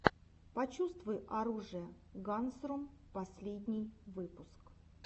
почувствуй оружие гансрум последний выпуск